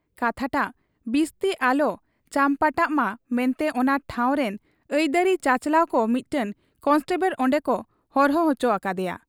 ᱠᱟᱛᱷᱟᱴᱟᱝ ᱵᱤᱥᱛᱤ ᱟᱞᱚ ᱪᱟᱢᱯᱟᱴᱟᱣᱜ ᱢᱟ ᱢᱮᱱᱛᱮ ᱚᱱᱟ ᱴᱷᱟᱶᱨᱤᱱ ᱟᱹᱭᱫᱟᱹᱨᱤ ᱪᱟᱪᱞᱟᱣ ᱠᱚ ᱢᱤᱫᱴᱟᱹᱝ ᱠᱚᱱᱮᱥᱴᱚᱵᱚᱲ ᱚᱱᱰᱮᱠᱚ ᱦᱚᱨᱦᱚ ᱚᱪᱚ ᱟᱠᱟᱫ ᱮᱭᱟ ᱾